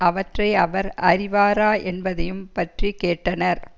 அவற்றை அவர் அறிவாரா என்பதையும் பற்றி கேட்டனர்